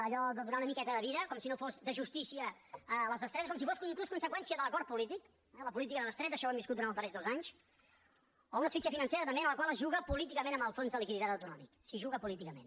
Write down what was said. allò de donar una miqueta de vida com si no fossin de justícia les bestretes com si fos inclús conseqüència de l’acord polític la política de bestreta això ho hem viscut durant els darrers dos anys o una asfíxia financera també en la qual es juga políticament amb el fons de liquiditat autonòmic s’hi juga políticament